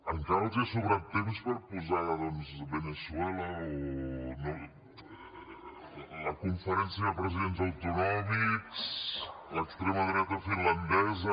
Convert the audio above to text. encara els ha sobrat temps per posar doncs veneçuela o la conferència de presidents autonòmics l’extrema dreta finlandesa